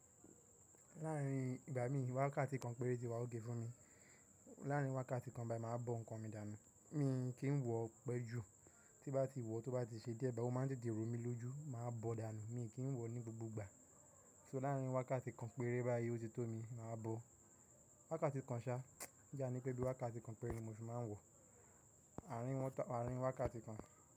Láàárin ìgbà mi wákàtí kan péré ti wà ok fún mi. Láàárin wákàtí kan báyìí mà á bọ nǹkan mi dànù. Mi kìí wọ pẹ jù, tí bá ti wọ̀ tó bá ti ṣe dé ẹgba, ó máa ń dìdì rò mi lójú, mà á bọ̀ dànù, mi kìí wọ̀ ní gbogbo ìgbà. So láàárin wákàtí kan péré báyìí ó ti tó mi, mà á bọ̀. Wákàtí kan ṣa, jání pé bí wákàtí kan péré ni mo ṣe máa ń wọ̀, àárín wọ́n ta àárín wákàtí kan.